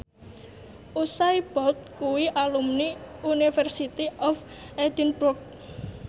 Usain Bolt kuwi alumni University of Edinburgh